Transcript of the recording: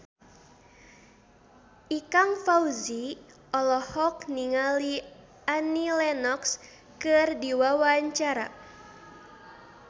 Ikang Fawzi olohok ningali Annie Lenox keur diwawancara